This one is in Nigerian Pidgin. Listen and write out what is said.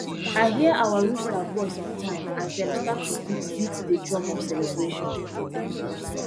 i hear our rooster voice on time as dem start to beat beat the drum of celebration